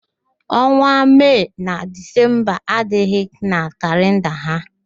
Ọnwa Mee na Dizemba adịghị na kalịnda ha.